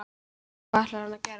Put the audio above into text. Hvað ætlar hann að gera?